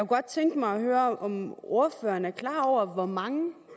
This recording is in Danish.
godt tænke mig at høre om ordføreren er klar over hvor mange